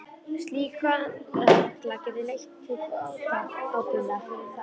Slík vanræksla getur leitt til bótaábyrgðar fyrir þá.